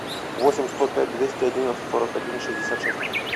восемь сто пять двести одинадцать сорок один шестьдесят шесть